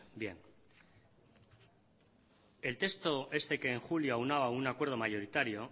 bien el texto este que en julio aunaba un acuerdo mayoritario